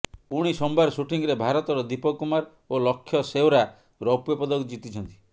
ପୁଣି ସୋମବାର ସୁଟିଂରେ ଭାରତର ଦୀପକ କୁମାର ଓ ଲକ୍ଷ୍ୟ ସେଓରାଁ ରୌପ୍ୟପଦକ ଜିତିଛନ୍ତି